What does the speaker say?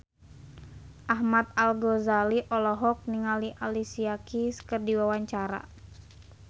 Ahmad Al-Ghazali olohok ningali Alicia Keys keur diwawancara